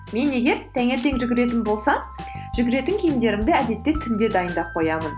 мен егер таңертең жүгіретін болсам жүгіретін киімдерімді әдетте түнде дайындап қоямын